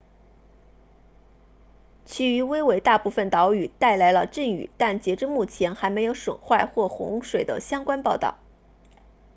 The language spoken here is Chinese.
其余威为大部分岛屿带来了阵雨但截至目前还没有损坏或洪水的相关报告